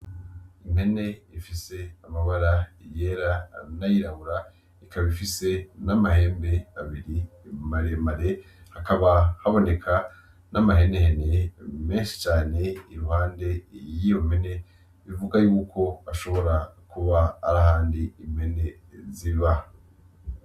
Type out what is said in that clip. Impene ifise amabara yera n'ayirabura ikaba ifise n'amahembe abiri maremare ,hakaba haboneka n'amahene hene menshi cane iruhande y'iyo mpene bivuga yuko ashobora kuba arahandi impene ziba.